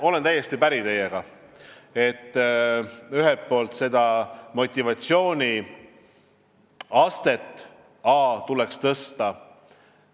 Olen täiesti päri teiega, et selle motivatsiooni astet tuleks tõsta.